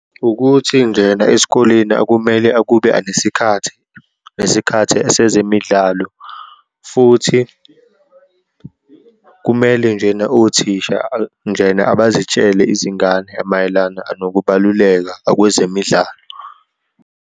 Ukuthi njena esikoleni akumele akube anesikhathi, nesikhathi esezemidlalo, futhi kumele njena othisha njena abazitshele izingane mayelana anokubaluleka akwezemidlalo.